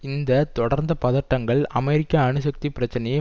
இந்த தொடர்ந்த பதட்டங்கள் அமெரிக்கா அணுசக்தி பிரச்சினையை